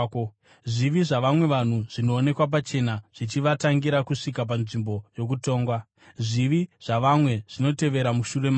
Zvivi zvavamwe vanhu zvinoonekwa pachena, zvichivatangira kusvika panzvimbo yokutongwa; zvivi zvavamwe zvinotevera mushure mavo.